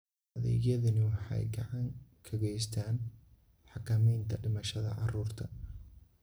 Adeegyadani waxay gacan ka geystaan ??xakamaynta dhimashada carruurta.